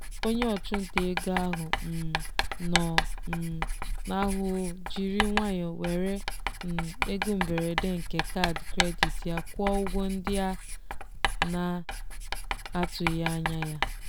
onye ọchụnta ego ahụ um nọ um n'ahụhụ jiri nwayọọ were um ego mberede nke kaadị kredit ya kwụọ ụgwọ ndị a na-atụghị anya ya.